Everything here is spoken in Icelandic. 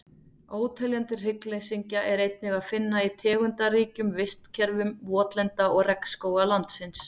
Óteljandi hryggleysingja er einnig að finna í tegundaríkum vistkerfum votlenda og regnskóga landsins.